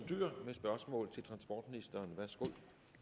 dyhr med spørgsmål til transportministeren værsgo